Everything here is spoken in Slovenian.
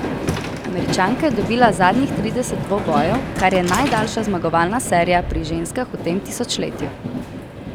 Američanka je dobila zadnjih trideset dvobojev, kar je najdaljša zmagovalna serija pri ženskah v tem tisočletju.